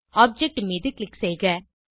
object மீது click செய்க